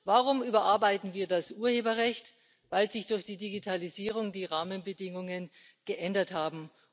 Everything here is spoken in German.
Warum überarbeiten wir das Urheberrecht? Weil sich durch die Digitalisierung die Rahmenbedingungen geändert haben.